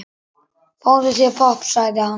Fáðu þér popp, sagði hann.